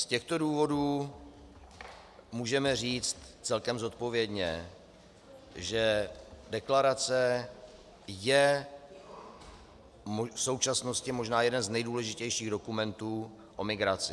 Z těchto důvodů můžeme říct celkem zodpovědně, že deklarace je v současnosti možná jeden z nejdůležitějších dokumentů o migraci.